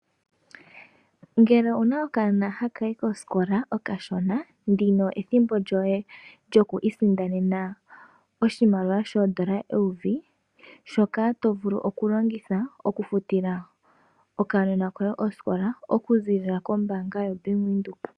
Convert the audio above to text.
Ngele owuna okaana hakayi koskola okashona ndino ethimbo lyoye lyokwisindanena oshimaliwa shondola eyovi shoka tovulu okulongitha okwufutila okanona koye osikola oku zilila kombanga yo Bank Widheok.